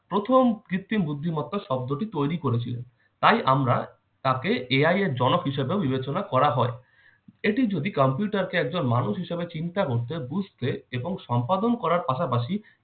প্রথম কৃত্রিম বুদ্ধিমত্তা শব্দটি তৈরি করেছিল। তাই আমরা তাকে AI এর জনক হিসাবে বিবেচনা করা হয়। এটি যদি computer কে একজন মানুষ হিসাবে চিন্তা করতে, বুঝতে এবং সম্পাদন করার পাশাপাশি